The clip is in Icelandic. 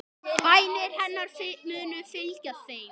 Bænir hennar munu fylgja þeim.